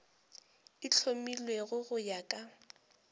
e hlomilwego go ya ka